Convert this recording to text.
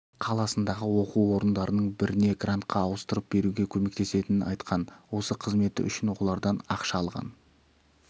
қаласындағы оқу орындарының біріне грантқа ауыстырып беруге көмектесетінін айтқан осы қызметі үшін олардан ақша алған